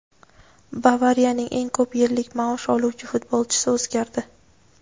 "Bavariya"ning eng ko‘p yillik maosh oluvchi futbolchisi o‘zgardi.